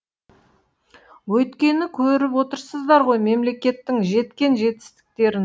өйткені көріп отырсыздар ғой мемлекеттің жеткен жетістіктерін